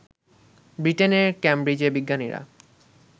ব্রিটেনের কেমব্রিজে বিজ্ঞানীরা